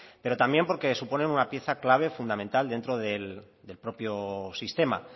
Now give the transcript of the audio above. pero también porque suponen una pieza clave fundamental dentro del propio sistema